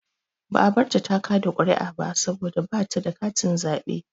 Ba a barta ta kaɗa ƙuri'a ba saboda ba ta da katin zaɓe.